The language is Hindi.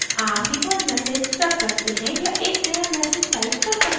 आप default message रख सकते हैं या एक नया message type कर सकते हैं